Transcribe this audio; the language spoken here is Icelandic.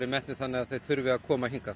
metnir þannig að þeir þurfi að koma hingað